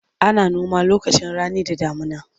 Ana noma lokacin rani da damuna.